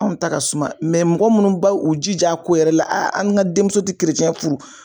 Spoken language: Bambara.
Anw ta ka suman mɔgɔ munnu ba u jij'a ko yɛrɛ la an ŋa denmuso ti furu